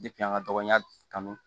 an ka dɔgɔnya kanu